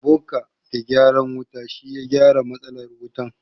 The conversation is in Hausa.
Ebuka mai gyaran wuta shi ya gyara matsalar wutan.